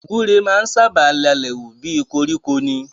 Gbúre máa ń sábà lalẹ̀ wù bí i koríko ni.